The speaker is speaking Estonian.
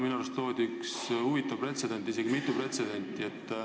Minu arust loodi täna üks huvitav pretsedent, isegi mitu pretsedenti.